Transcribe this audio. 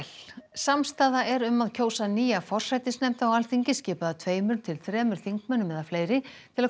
samstaða er um að kjósa nýja forsætisnefnd á Alþingi skipaða tveimur til þremur þingmönnum eða fleiri til að